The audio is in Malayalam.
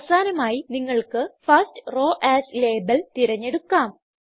അവസാനമായി നിങ്ങൾക്ക് ഫർസ്റ്റ് റോവ് എഎസ് ലാബെൽ തിരഞ്ഞെടുക്കാം